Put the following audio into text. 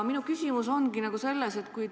Minu küsimus ongi selle kohta.